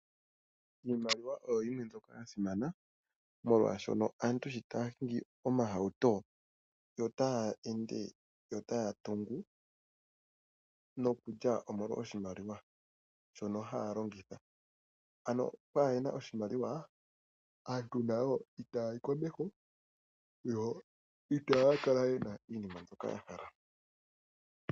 Iimaliwa oyo yimwe mbyoka ya simana molwashono aantu shi taya hingi omahauto yo taya ende, yo taya tungu nokulya, omolwa oshimaliwa. Shono haya longitha, ano okwaahena oshimaliwa aantu nayo itaayi komeho yo itaya kala yena iinima mbyoka ya hala.